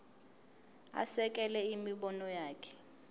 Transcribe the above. asekele imibono yakhe